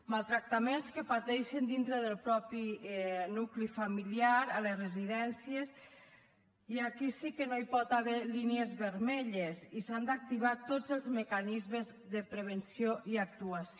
maltractaments que pateixen dintre del propi nucli familiar a les residències i aquí sí que no hi pot haver línies vermelles i s’han d’activar tots es mecanismes de prevenció i actuació